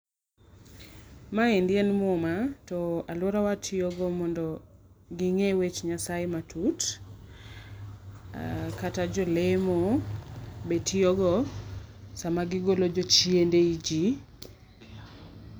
Maendi en muma to aluora watiyo go mondo ginge weche nyasaye matut, kata jolemo bende tiyo go sama gi golo jochiende e ji.